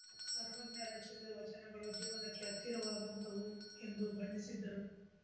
ಸರ್ವಜ್ಞ ರಚಿಸಿದ ವಚನಗಳು ಜೀವನಕ್ಕೆ ಹತ್ತಿರವಾದಂತಹವು ಎಂದು ಬಣ್ಣಿಸಿದರು